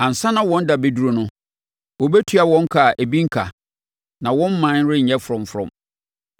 Ansa na wɔn da bɛduru no, wɔbɛtua wɔn ka a ebi renka, na wɔn mman renyɛ frɔmfrɔm.